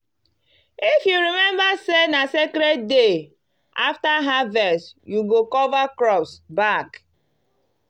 if you remember say na sacred day after harvest you go cover crops back.